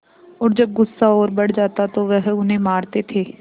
और जब गुस्सा और बढ़ जाता तो वह उन्हें मारते थे